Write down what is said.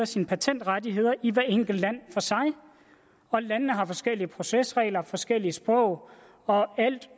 sine patentrettigheder i hvert enkelt land for sig og landene har forskellige procesregler forskellige sprog og alt